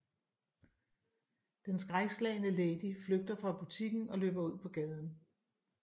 Den skrækslagne Lady flygter fra butikken og løber ud på gaden